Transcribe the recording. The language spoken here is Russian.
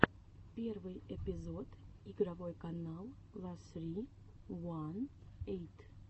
первый эпизод игровой канал ла ссри уан эйт